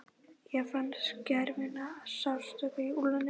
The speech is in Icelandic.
Ég fann skerandi sársauka í úlnliðnum.